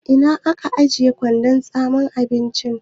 Ina kika ajiye kwandon tsame abinci?